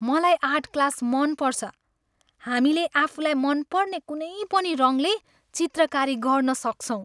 मलाई art class मन पर्छ। हामीले आफूलाई मनपर्ने कुनै पनि रङले चित्रकारी गर्न सक्छौँ।